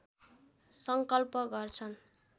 सङ्कल्प गर्छन्